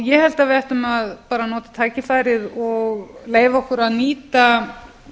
ég held að við ættum að nota tækifærið og leyfa okkur að nýta